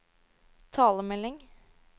talemelding